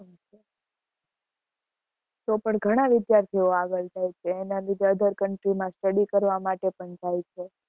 તો પણ ઘણાં વિદ્યાર્થી ઓ આગળ જાય છે other country માં study કરવા માટે પણ જાય છે.